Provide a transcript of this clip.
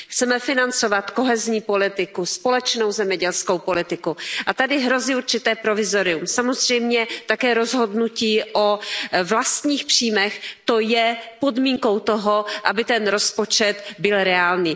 Chceme financovat kohezní politiku, společnou zemědělskou politiku a tady hrozí určité provizorium. Samozřejmě také rozhodnutí o vlastních příjmech, to je podmínkou toho, aby ten rozpočet byl reálný.